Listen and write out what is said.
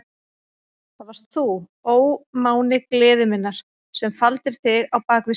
Það varst þú, ó máni gleði minnar, sem faldir þig á bak við ský.